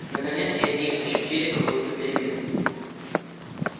наконец и они ощутили какую-то перемену